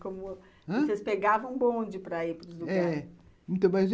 Como...ãh? vocês pegavam o bonde para ir para os lugares? é...